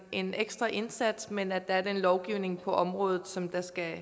en ekstra indsats men at der er den lovgivning på området som der skal